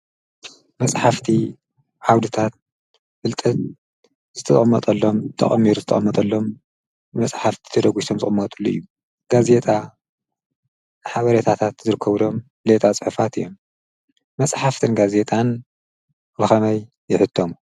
መፅሓፍቲ ዓውድታት ፍለጠት ተቀሚሩ ዝጠቀመጠሎም ብመፅሓፍቲ ተደጉሶም ዝቅመጥሉ እዩ፡፡ ጋዜጣ ሓበሬታታት ዝርከብሎም ሌጣ ፅሑፋት እዮም፡፡ መፅሓፍትን ጋዜጣን ብከመይ ይሕተሙ?